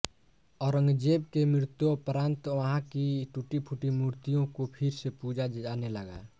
औरंगजेब के मृत्योपरांत वहाँ की टूटी फूटी मूर्तियों को फिर से पूजा जाने लगा